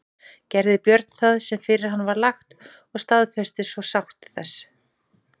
Gerði Björn það sem fyrir hann var lagt og staðfestist svo sátt þessi.